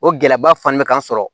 O gɛlɛyaba fanin bɛ k'an sɔrɔ